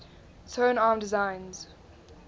tone arm designs